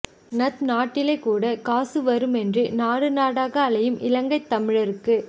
ந்த் நாட்டிலை கூட காசு வருமென்று நாடுநாட அலையும் இலங்கைத் தமிழர்கழுக்கு